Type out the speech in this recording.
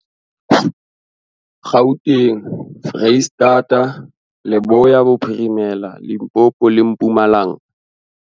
Gauteng, Freistata, Leboya Bophirimela, Limpopo le Mpumalanga.